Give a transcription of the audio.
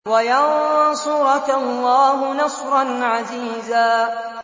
وَيَنصُرَكَ اللَّهُ نَصْرًا عَزِيزًا